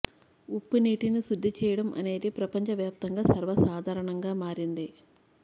ఉప్పు నీటిని శుద్ధి చేయడం అనేది ప్రపంచ వ్యాప్తంగా సర్వసాధారణంగా మారింది